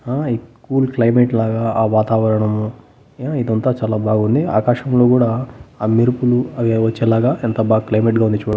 ఆ ఈ cool climate లాగా ఆ వాతావరణము ఆ ఇదంతా చాలా బాగుంది ఆకాశం లో గూడా ఆ మెరుపులు అవేవో చల్లగా ఎంత బాగా క్లైమేట్ గా ఉంది చు --